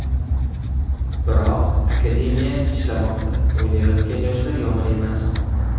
Biroq akademiya ishlamoqda, o‘ynayotgan yoshlar yomon emas.